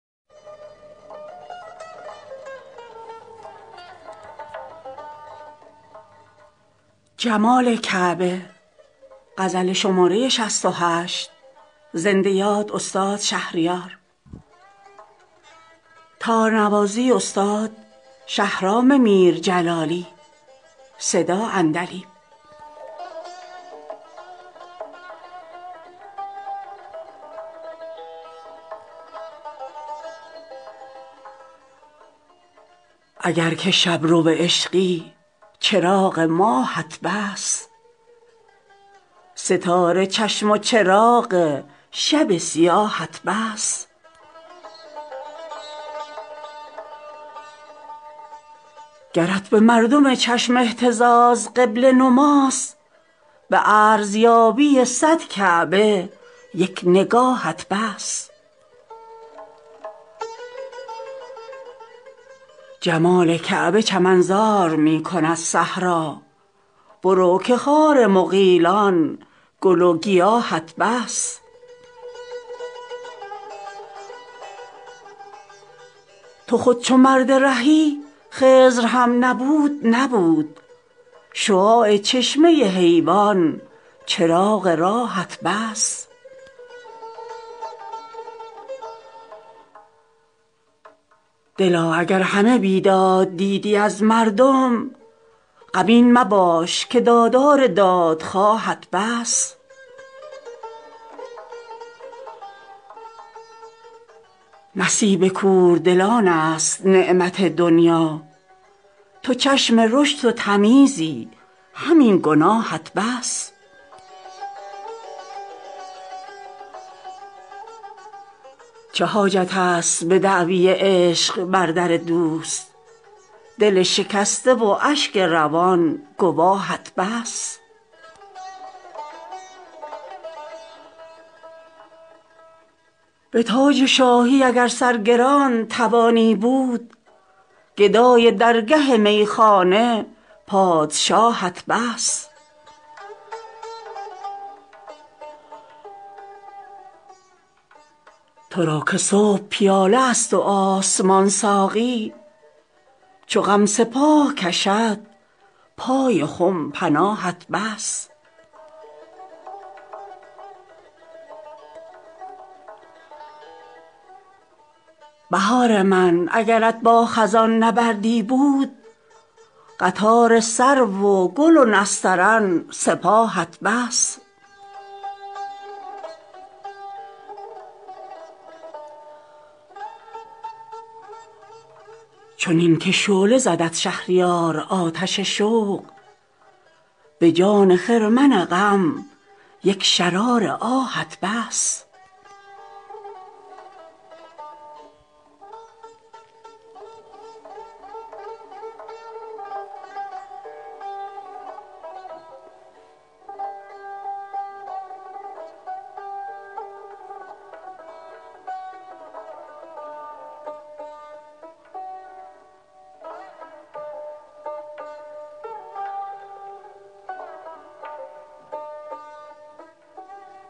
اگر که شبرو عشقی چراغ ماهت بس ستاره چشم و چراغ شب سیاهت بس گرت به مردم چشم اهتزار قبله نماست به ارزیابی صد کعبه یک نگاهت بس جمال کعبه چمن زار می کند صحرا برو که خار مغیلان گل و گیاهت بس تو خود چو مرد رهی خضر هم نبود نبود شعاع چشمه حیوان چراغ راهت بس دلا اگر همه بیداد دیدی از مردم غمین مباش که دادار دادخواهت بس نصیب کوردلان است نعمت دنیا تو چشم رشد و تمیزی همین گناهت بس تو را که پینه پا کفش بوده مجنون وار قلندرانه هم از گیسوان کلاهت بس چه حاجت است به دعوی عشق بر در دوست دل شکسته و اشک روان گواهت بس به تاج شاهی اگر سرگران توانی بود گدای درگه میخانه پادشاهت بس ز خلق رو به خدا کن که کنج خلوت عشق رواق مدرسه و طاق خانقاهت بس ترا که صبح پیاله است و آسمان ساقی چو غم سپاه کشد پای خم پناهت بس نماز بر خم محراب آسمان چه ضرور هلال ابروی دلدار قبله گاهت بس بهار من اگرت با خزان نبردی بود قطار سرو و گل و نسترن سپاهت بس چنین که شعله زدت شهریار آتش شوق به جان خرمن غم یک شرار آهت بس